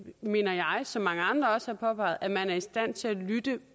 mener jeg som mange andre også har påpeget at man er i stand til at lytte